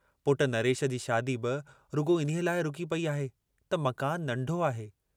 पुटु नरेश जी शादी बि रुॻो इन्हीअ लाइ रुकी पेई आहे त मकान नंढो आहे।